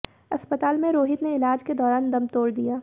अस्पताल में रोहित ने इलाज के दौरान दम तोड़ दिया